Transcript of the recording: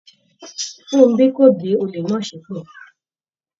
Funbí kò gbé olè náà ṣépè